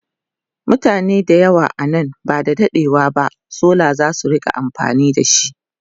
mutane da yawa nan ba da daɗewa ba solar zasu rinka amfani da shi